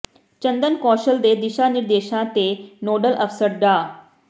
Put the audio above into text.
ਚੰਦਨ ਕੌਸ਼ਲ ਦੇ ਦਿਸ਼ਾ ਨਿਰਦੇਸ਼ਾਂ ਤੇ ਨੋਡਲ ਅਫ਼ਸਰ ਡਾ